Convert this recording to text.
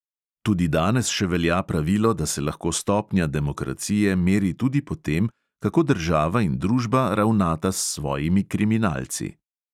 Tudi danes še velja pravilo, da se lahko stopnja demokracije meri tudi po tem, kako država in družba ravnata s svojimi kriminalci.